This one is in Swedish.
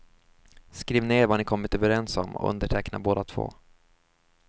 Skriv ner vad ni kommit överens om och underteckna båda två.